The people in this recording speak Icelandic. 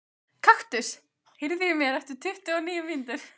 Kaktus, heyrðu í mér eftir tuttugu og níu mínútur.